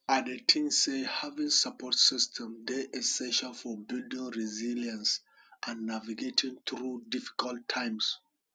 i dey think say having support system dey essential for building resilience and navigating through difficult times